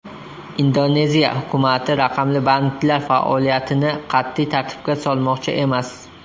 Indoneziya hukumati raqamli banklar faoliyatini qat’iy tartibga solmoqchi emas.